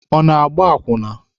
Ọ na-agba akwụna?